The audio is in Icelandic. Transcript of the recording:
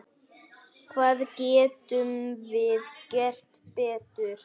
Hvað getum við gert betur?